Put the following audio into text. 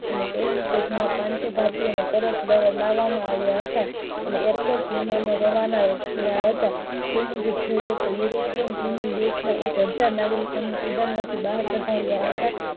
અને પેહલી વાર માં પાનસો ભારતીયો ને પાર્ટ લેવામાં આવિયા હતા અને airport થી વિમાન ને રવાના કરવામાં આવિયા હતા એમાં જોયે તો europe ના એક હઝાર નાગરિકો ને student માંથી બહાર કાઢયા હતા.